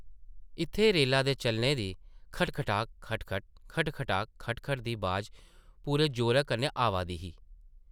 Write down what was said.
इत्थै रेला दे चलने दी-खट-खड़ाक, खट-खट ; खट-खड़ाक, खट-खट दी बाज पूरे जोरै कन्नै आवा दी ही ।